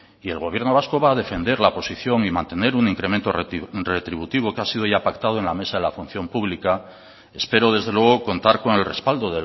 y el gobierno vasco va a defender la posición y mantener un incremento retributivo que ha sido ya pactado en la mesa de la función pública espero desde luego contar con el respaldo